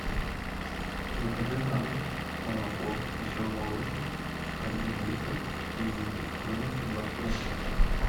закажи на дом молоко веселый молочник один литр и жирностью два с половиной процента